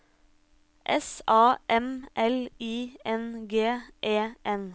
S A M L I N G E N